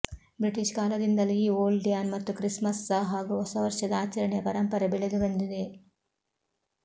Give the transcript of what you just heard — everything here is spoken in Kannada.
ಬ್ರಿಟಿಷ್ ಕಾಲದಿಂದಲೂ ಈ ಓಲ್ಡ್ಮ್ಯಾನ್ ಮತ್ತು ಕ್ರಿಸ್ಮಸ್ಸ ಹಾಗೂ ಹೊಸವರ್ಷದ ಆಚರಣೆಯ ಪರಂಪರೆ ಬೆಳೆದು ಬಂದಿದೆ